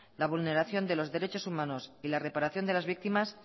la vulneración de los derechos humanos y la reparación de las víctimas